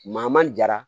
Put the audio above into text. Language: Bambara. Maa ma jara